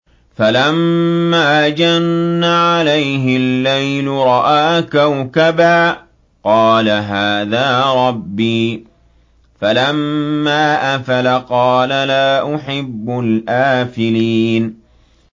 فَلَمَّا جَنَّ عَلَيْهِ اللَّيْلُ رَأَىٰ كَوْكَبًا ۖ قَالَ هَٰذَا رَبِّي ۖ فَلَمَّا أَفَلَ قَالَ لَا أُحِبُّ الْآفِلِينَ